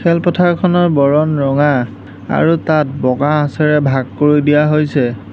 খেলপথাৰখনৰ বৰণ ৰঙা আৰু তাত বগা আঁচেৰে ভাগ কৰি দিয়া হৈছে।